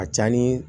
A ka ca ni